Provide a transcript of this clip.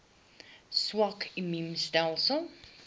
swak immuun stelsels